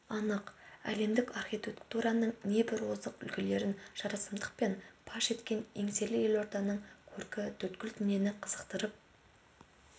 анық әлемдік архитектураның небір озық үлгілерін жарасымдықпен паш еткен еңселі елорданың көркі төрткүл дүниені қызықтырып